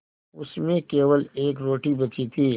उसमें केवल एक रोटी बची थी